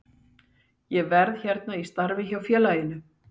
Ég verð hérna í starfi hjá félaginu.